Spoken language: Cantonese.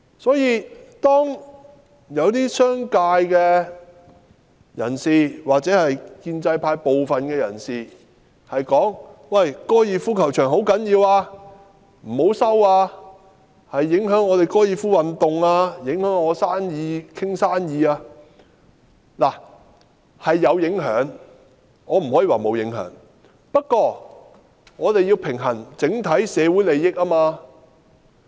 所以，當一些商界人士或建制派部分人士說高爾夫球場很重要，不要收回，因為會影響高爾夫球運動、影響他們商談生意等，我認為的確是有影響，我不能說沒有影響；不過，我們要平衡整體社會的利益。